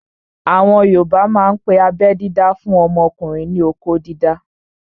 Àwọn yoòbá máa n pe abẹ́ dídá fún ọmọkùnrin ní "okó dídá"